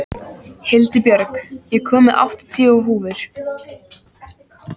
Hildibjörg, ég kom með áttatíu húfur!